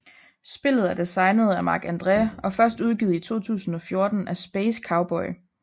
Spillet er designet af Marc André og først udgivet i 2014 af Space Cowboy